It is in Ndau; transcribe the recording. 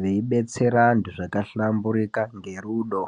veibetsera antu zvakahlambirika ngerudo.